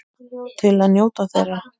Til að njóta þeirra.